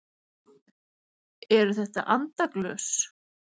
Eru þetta andaglös?